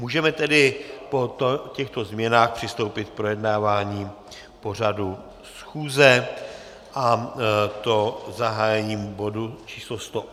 Můžeme tedy po těchto změnách přistoupit k projednávání pořadu schůze, a to zahájením bodu číslo